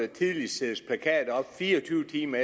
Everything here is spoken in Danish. fire og tyve timer